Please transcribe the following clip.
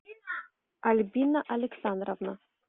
альбина александровна